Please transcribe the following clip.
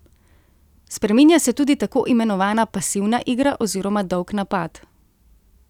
Spreminja se tudi takoimenovana pasivna igra oziroma dolg napad.